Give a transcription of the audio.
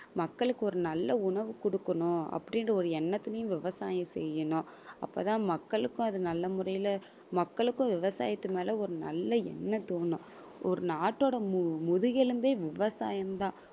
மக்களுக்காக ஒரு நல்ல உணவு குடுக்கணும் அப்படின்ற ஒரு எண்ணத்துலயும் விவசாயம் செய்யணும் அப்பதான் மக்களுக்கும் அது நல்ல முறையில மக்களுக்கும் விவசாயத்து மேல ஒரு நல்ல எண்ணம் தோணும் ஒரு நாட்டோட முதுகெலும்பே விவசாயம் தான்